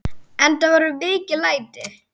Enda voru mikil læti.